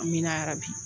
An mi na bi